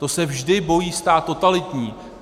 To se vždy bojí stát totalitní.